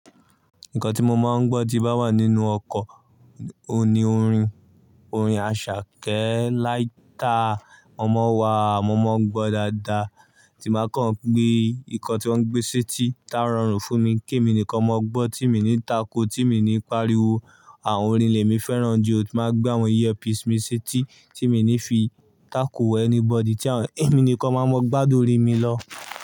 Nǹkan tí mo máa ń gbọ́ tí bá wà nínú ọkọ̀, òní orin, orin Àṣàkẹ́ Láìtà, ọmọ wa, mo máa ń gbọ́ dáadáa. Tí máa kàn gbé, nǹkan tí wọ́n gbé sí ti tá rọrùn fún mi, kí èmi nìkan máa gbọ́ tí mo ní takò, tí mo ní pariwo. Àwọn orin lèmi fẹ́ràn ju, tí máa gbé àwọn iyẹpi sími sí éti tí mi ní fi takò anybody tí èmi nìkan máa mọ gbádùn orin mi lọ.